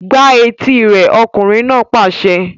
Gbá etí rẹ̀! Ọkùnrin náà pàṣẹ.